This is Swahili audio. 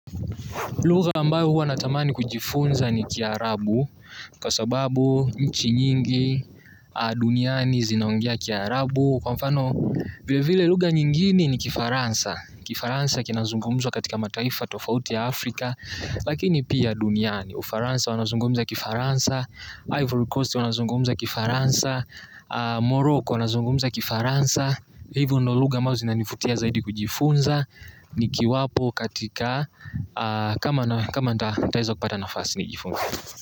Lugha ambayo huwa natamani kujifunza ni kiarabu kwa sababu nchi nyingi duniani zinaongea kiarabu. Kwa mfano vile vile lugha nyingini ni kifaransa. Kifaransa kinazungumzwa katika mataifa tofauti ya Afrika, lakini pia duniani. Ufaransa wanazungumza kifaransa, Ivory Coast wanazungumza kifaransa, Morocco wanazungumza kifaransa. Hivo ndio lugha ambao zinanivutia zaidi kujifunza. Nikiwapo katika kama nitaweza kupata nafasi nijifunze.